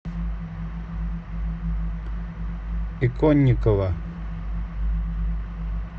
иконникова